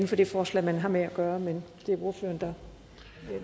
for det forslag man har med at gøre men det er jo ordføreren der